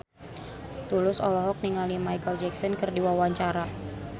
Tulus olohok ningali Micheal Jackson keur diwawancara